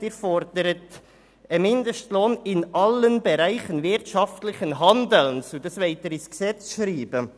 Sie fordern einen Mindestlohn in allen Bereichen wirtschaftlichen Handelns und wollen dies im Gesetz festhalten.